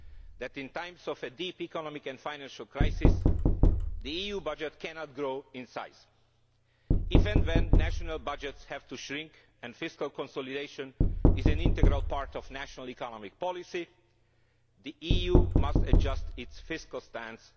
that in times of deep economic and financial crisis the EU budget cannot grow in size. If national budgets have to shrink and fiscal consolidation is an integral part of national economic policy the EU too must adjust its fiscal stance.